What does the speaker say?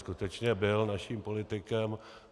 Skutečně byl naším politikem.